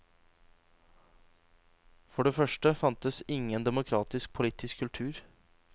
For det første fantes ingen demokratisk politisk kultur.